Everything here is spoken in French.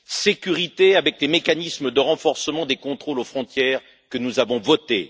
sécurité avec des mécanismes de renforcement des contrôles aux frontières que nous avons votés